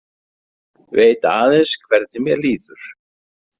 Veit aðeins hvernig mér líður.